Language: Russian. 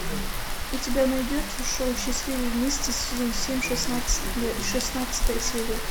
у тебя найдется шоу счастливы вместе сезон семь шестнадцатая серия